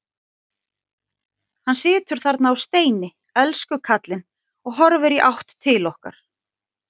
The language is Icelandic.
Hann situr þarna á steini, elsku kallinn, og horfir í átt til okkar.